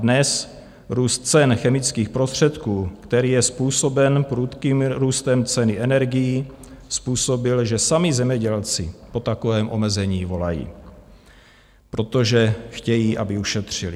Dnes růst cen chemických prostředků, který je způsoben prudkým růstem ceny energií, způsobil, že sami zemědělci po takovém omezení volají, protože chtějí, aby ušetřili.